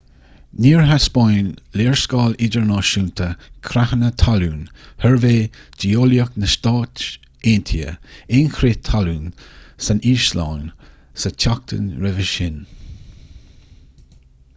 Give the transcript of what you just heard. níor thaispeáin léarscáil idirnáisiúnta creathanna talún shuirbhé geolaíoch na stát aontaithe aon chrith talún san íoslainn sa tseachtain roimhe sin